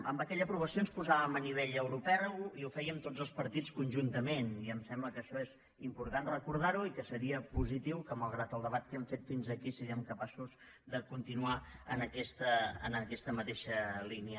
amb aquella aprovació ens posàvem a nivell europeu i ho fèiem tots els partits conjuntament i em sembla que això és important recordar ho i que seria positiu que mal grat el debat que hem fet fins aquí siguem capaços de continuar en aquesta mateixa línia